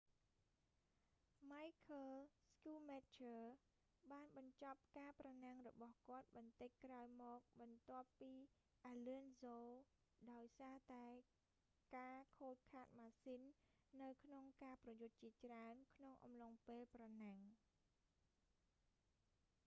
ម៉ៃឃើល ស្គូមែចឈើរ michael schumacher បានបញ្ចប់ការប្រណាំងរបស់គាត់បន្តិចក្រោយមកបន្ទាប់ពីអាឡឹនសូ alonso ដោយសារតែការខូចខាតម៉ាស៊ីននៅក្នុងការប្រយុទ្ធជាច្រើន ក្នុងអំឡុងពេលប្រណាំង